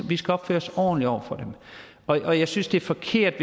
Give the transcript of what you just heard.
vi skal opføre os ordentligt over for dem og jeg synes det er forkert